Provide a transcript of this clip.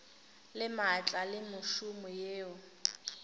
le maatla le mešomo yeo